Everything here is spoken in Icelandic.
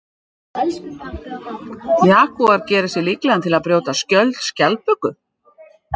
Jagúar gerir sig líklegan til að brjóta skjöld skjaldböku.